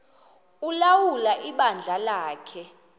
ulawula ibandla lakhe